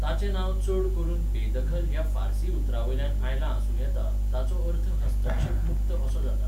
ताचें नांव चड करून बेदखल ह्या फार्सी उतरावयल्यान आयलां आसूं येता, ताचो अर्थ हस्तक्षेप मुक्त असो जाता.